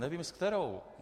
Nevím s kterou.